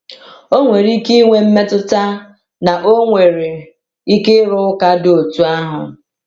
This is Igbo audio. O nwere ike ịnwe mmetụta na ọ nwere ike ịrụ ụka dị otú ahụ.